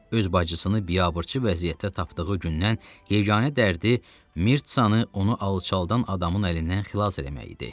Öz bacısını biabırçı vəziyyətdə tapdığı gündən yeganə dərdi Mirtsanı onu alçaldan adamın əlindən xilas eləmək idi.